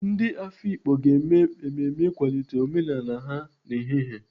Ndị Afikpo ga-eme mmemme ịkwalite omenala ha n'ehihie.